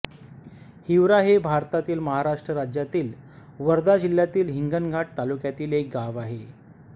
हिवरा हे भारतातील महाराष्ट्र राज्यातील वर्धा जिल्ह्यातील हिंगणघाट तालुक्यातील एक गाव आहे